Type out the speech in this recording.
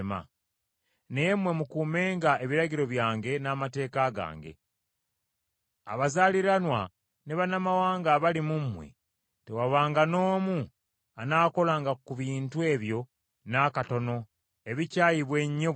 Naye mmwe mukuumenga ebiragiro byange n’amateeka gange. Abazaaliranwa ne bannamawanga abali mu mmwe tewabanga n’omu anaakolanga ku bintu ebyo n’akatono ebikyayibwa ennyo bwe bityo.